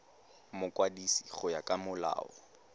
mokwadisi go ya ka molao